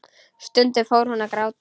Stundum fór hún að gráta.